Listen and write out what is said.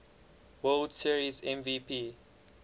world series mvp